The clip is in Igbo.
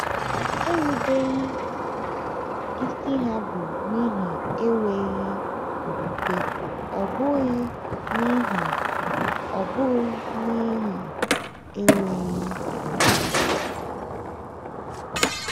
Erubeghị isi ha bụ n’ihi enweghị okwukwe ọ bụghị n’ihi ọ bụghị n’ihi enweghị ohere.